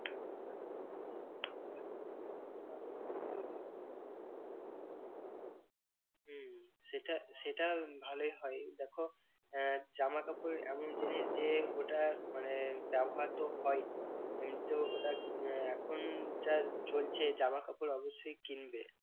হম সেটা সেটা ভালোই হয়। দেখো আহ জামা কাপড় এমন জিনিস যে ওটা মানে ব্যবহার তো হয়ই উহ তো ওটা আহ এখন যা চলছে জামা কাপড় অবশ্যই কিনবে।